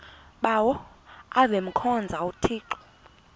bawo avemkhonza uthixo